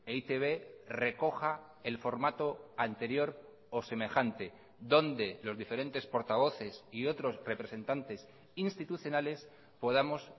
e i te be recoja el formato anterior o semejante donde los diferentes portavoces y otros representantes institucionales podamos